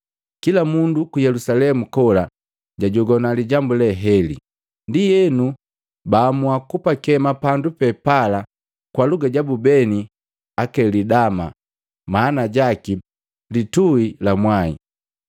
Kila mundu ku Yelusalemu kola jajogwa lijambu le heli, ndienu baamua kupakema pandu pe pala kwa luga jabu beni Akelidama maana jaki, “Litui la mwae.”